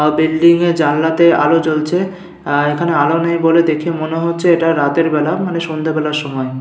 আ building -এ জানালাতে আলো জ্বলছে আ এখানে আলো নেই বলে দেখে মনে হচ্ছে এটা রাতের বেলা মানে সন্ধ্যেবেলার সময়।